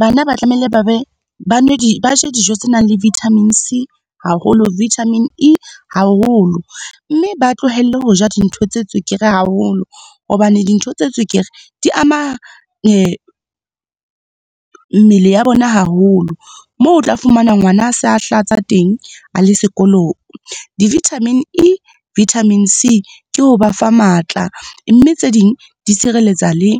Bana ba tlamehile ba be, ba je dijo tse nang le vitamin C haholo, vitamin E haholo. Mme ba tlohelle ho ja dintho tse tswekere haholo hobane dintho tse tswekere di ama mmele ya bona haholo, moo o tla fumana ngwana a sa hlatsa teng a le sekolong. Di-vitamin E, vitamin C ke ho ba fa matla, mme tse ding di tshireletsa le